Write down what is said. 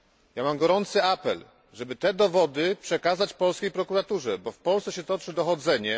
Ja mam gorący apel, żeby te dowody przekazać polskiej prokuraturze, bo w Polsce się toczy dochodzenie.